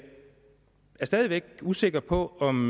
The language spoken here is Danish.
er stadig væk usikker på om